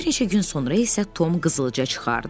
Bir neçə gün sonra isə Tom qızılca çıxardı.